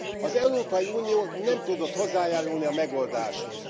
Az Európai Unió nem tudott hozzájárulni a megoldáshoz.